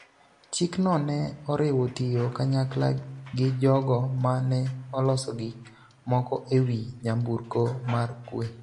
Chikno ne oriwo tiyo kanyakla gi jogo ma ne oloso gik moko e wi nyamburko mar Kwe,